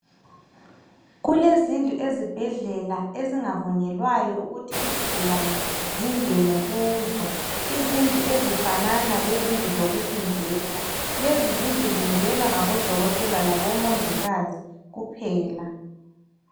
Kulezindlu ezibhedlela izigulane ezingavunyelwa ukuthi zingene kuzo. Izindlu ezifanana lezindlu zokuhlinzela. Lezo zindlu zingenwa ngabomongikazi labodokotela kuphela.